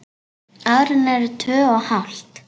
Árin eru tvö og hálft.